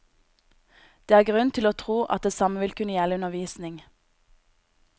Det er grunn til å tro at det samme vil kunne gjelde undervisning.